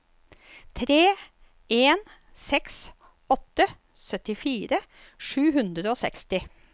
tre en seks åtte syttifire sju hundre og seksti